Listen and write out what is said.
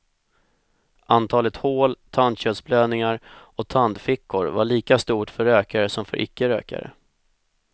Antalet hål, tandköttsblödningar och tandfickor var lika stort för rökare som för icke rökare.